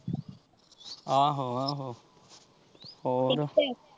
ਆਹੋ ਆਹੋ ਹੋਰ।